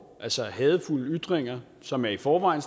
hadefulde ytringer som i forvejen